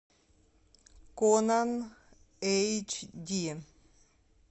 конан эйч ди